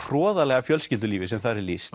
hroðalega fjölskyldulífi sem þar er lýst